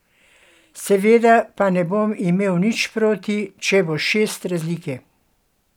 Seveda pa ne bom imel nič proti, če bo šest razlike ...